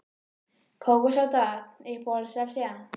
kók og sódavatn Uppáhalds vefsíða?